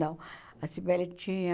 Não, a Cybele tinha...